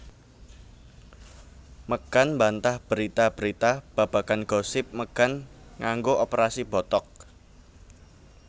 Megan mbantah berita berita babagan gosip megan nganggo operasi botox